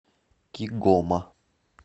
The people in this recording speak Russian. кигома